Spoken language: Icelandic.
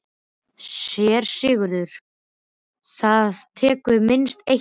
SÉRA SIGURÐUR: Það tekur minnst eitt ár.